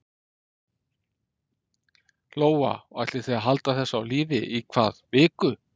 Lóa: Og ætlið þið að halda þessu á lífi í hvað viku?